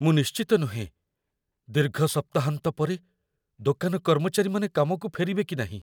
ମୁଁ ନିଶ୍ଚିତ ନୁହେଁ, ଦୀର୍ଘ ସପ୍ତାହାନ୍ତ ପରେ ଦୋକାନ କର୍ମଚାରୀମାନେ କାମକୁ ଫେରିବେ କି ନାହିଁ।